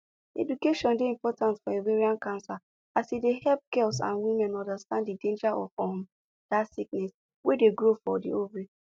education dey important for ovarian cancer as e dey help girls and women understand the danger of um that sickness wey dey grow for ovary